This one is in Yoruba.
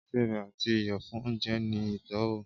ìsẹbè ati iyọ fun ounjẹ ni itọwo.